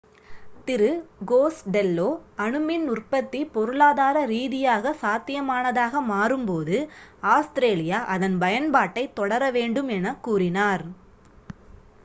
திரு Costello அணு மின் உற்பத்தி பொருளாதார ரீதியாகச் சாத்தியமானதாக மாறும்போது ஆஸ்திரேலியா அதன் பயன்பாட்டைத் தொடர வேண்டும் என்று கூறினார்